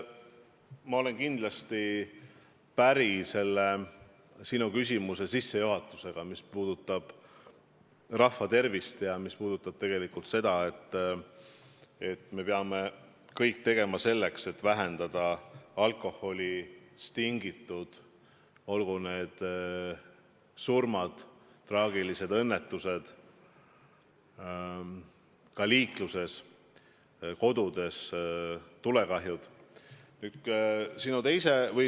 Ma olen kindlasti päri sinu küsimuse sissejuhatusega, mis puudutas rahva tervist ja seda, et me peame kõik tegema selleks, et vähendada alkoholist tingitud kahju, olgu need surmad või muud traagilised õnnetused, sh ka liikluses, tulekahjud kodudes.